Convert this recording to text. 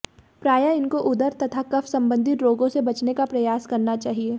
प्रायः इनको उदर तथा कफ संबंधित रोगों से बचने का प्रयास करना चाहिए